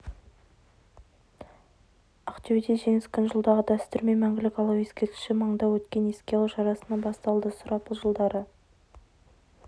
ақтөбеде жеңіс күні жылдағы дәстүрмен мәңгілік алау ескерткіші маңында өткен еске алу шарасынан басталды сұрапыл жылдары